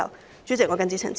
代理主席，我謹此陳辭。